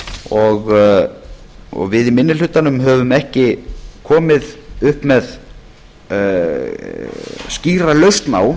og við í minni hlutanum höfum ekki komið upp með skýra lausn á